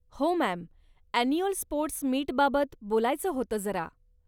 हो ma'am, annual sports मीटबाबत बोलायचं होतं जरा.